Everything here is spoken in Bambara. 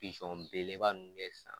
belebeleba nunnu bɛ san